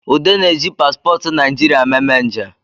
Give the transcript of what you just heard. Ude na-eji paspọtụ naijiria meme nje